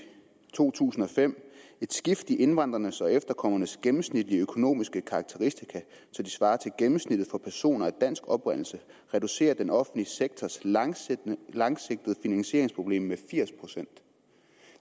to tusind og fem at et skift i indvandrernes og efterkommernes gennemsnitlige økonomiske karakteristika så de svarer til gennemsnittet for personer af dansk oprindelse reducerer den offentlige sektors langsigtede langsigtede finansieringsproblem med firs procent